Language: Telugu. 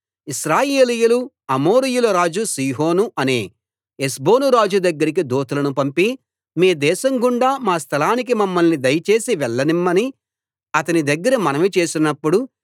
ఇశ్రాయేలీయులు అమోరీయుల రాజు సీహోను అనే హెష్బోను రాజు దగ్గరికి దూతలను పంపి మీ దేశం గుండా మా స్థలానికి మమ్మల్ని దయచేసి వెళ్ళనిమ్మని అతని దగ్గర మనవి చేసినప్పుడు